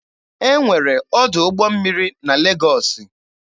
E nwere ọdụ ụgbọ mmiri na Legọọsị.